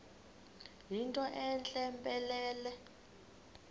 yinto entle mpelele